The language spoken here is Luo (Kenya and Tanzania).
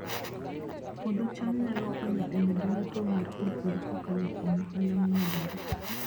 Puodho cham nyalo konyo e medo yuto mar jopur kokalo kuom ohala momedore